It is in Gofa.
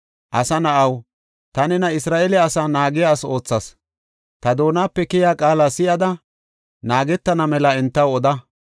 “Asa na7aw, ta nena Isra7eele asaa naagiya asi oothas. Ta doonape keyiya qaala si7idi, naagana mela entaw oda.